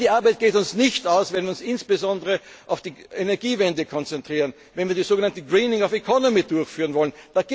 aus. Nein, die Arbeit geht uns nicht aus, wenn wir uns insbesondere auf die Energiewende konzentrieren, wenn wir das so genannte Greening of economy durchführen wollen.